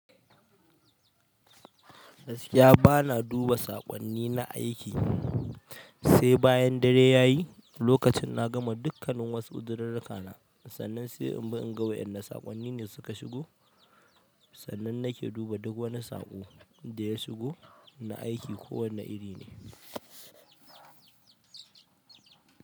Ba na duba saƙonni na aiki, sai bayan dare ya yi, lokacin na gama dukkanin wasu uzirirrika na, sannan sai in bi in ga waɗannan saƙonni ne suka shigo, sannan nake duba duk wani saƙo da ya shigo na aiki ko wanne iri ne.